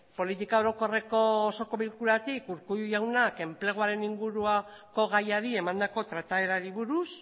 politika orokorreko osoko bilkuratik urkullu jaunak enpleguaren inguruko gaiari emandako trataerari buruz